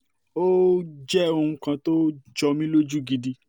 ó um jẹ́ ohun kan tó jọ um mí lójú gidi